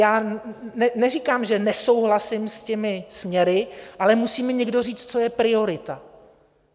Já neříkám, že nesouhlasím s těmi směry, ale musí mi někdo říct, co je priorita.